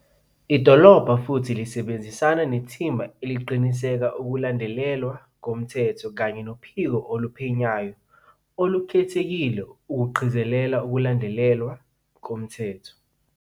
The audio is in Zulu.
Idolobha futhi lisebenzisana nethimba eliqinisekisa ukulandelwa komthetho kanye noPhiko Oluphenyayo Olu-khethekile ukuqikelela ukulandelwa komthetho.